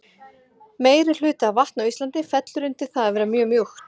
meirihluti af vatni á íslandi fellur undir það að vera mjög mjúkt